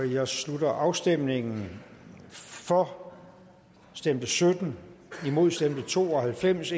jeg slutter afstemningen for stemte sytten imod stemte to og halvfems